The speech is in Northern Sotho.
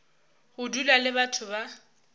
go dula le batho ba